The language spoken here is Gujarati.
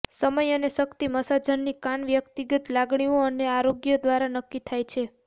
સમય અને શક્તિ મસાજની કાન વ્યક્તિગત લાગણીઓ અને આરોગ્ય દ્વારા નક્કી થાય છે